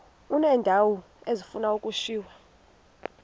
uneendawo ezifuna ukushiywa